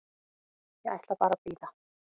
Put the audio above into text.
Ég ætla bara að bíða.